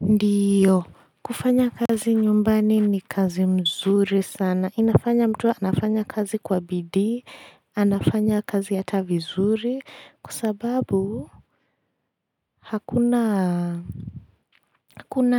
Ndiyo. Kufanya kazi nyumbani ni kazi mzuri sana. Inafanya mtu anafanya kazi kwa bidii anafanya kazi hata vizuri, kwa sababu hakuna